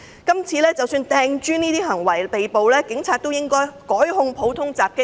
即使有人因擲磚而被捕，警察是否亦應該改控他們普通襲擊罪。